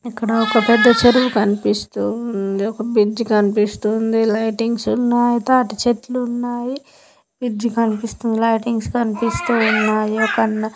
ఇక్కడ ఒక పెద్ద చెరువు కన్పిస్తూ ఉంది ఒక్క బ్రిడ్జ్ కన్పిస్తూ ఉంది లైటింగ్స్ ఉన్నాయి తాటి చెట్లున్నాయి. బ్రిడ్జ్ కన్పిస్తుంది. లైటింగ్స్ కన్పిస్తూ ఉన్నాయి ఒక అన్న.